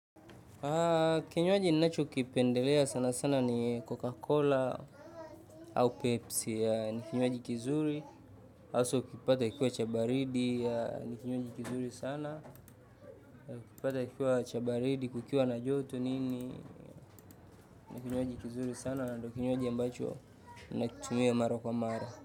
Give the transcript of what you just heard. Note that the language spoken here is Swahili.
Kinywaji ninachokipendelea sana sana ni coca cola au pepsi, ni kinywaji kizuri haswa ukipata kikiwa cha baridi, ni kinywaji kizuri sana, ukipata kikiwa cha baridi kukiwa na joto nini, ni kinywaji kizuri sana, na ndio kinywaji ambacho ninakitumia mara kwa mara.